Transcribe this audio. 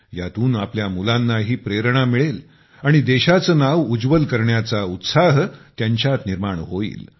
यातून आपल्या मुलानाही प्रेरणा मिळेल आणि देशाचे नाव उज्वल करण्याचा उत्साह त्यांच्या निर्माण होईल